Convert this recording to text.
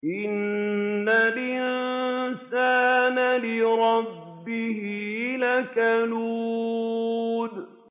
إِنَّ الْإِنسَانَ لِرَبِّهِ لَكَنُودٌ